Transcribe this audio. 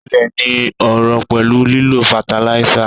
Ilé ní ọrọ̀ pẹ̀lú lílo fataláísà